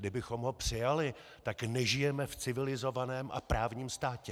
Kdybychom ho přijali, tak nežijeme v civilizovaném a právním státě.